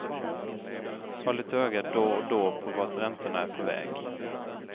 Håll ett öga då och då på vart räntorna är på väg.